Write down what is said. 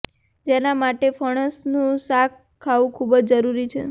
જેના માટે ફણસનું શાક ખાવું ખૂબ જ જરૂરી છે